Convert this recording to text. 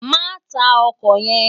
Má tá òkò yèn